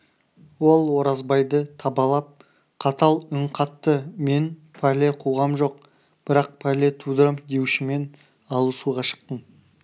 ол оразбайды табалап қатал үн қатты мен пәле қуғам жоқ бірақ пәле тудырам деушімен алысуға шықтым